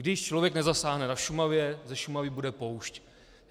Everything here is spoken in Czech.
Když člověk nezasáhne na Šumavě, ze Šumavy bude poušť.